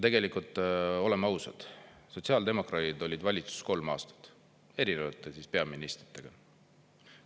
Tegelikult, oleme ausad, sotsiaaldemokraadid olid valitsuses kolm aastat erinevate peaministritega.